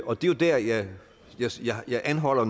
og det er jo der jeg jeg anholder